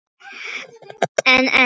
En en.